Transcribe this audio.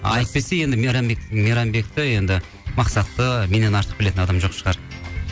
әйтпесе енді мейрамбекті енді мақсатты меннен артық білетін адам жоқ шығар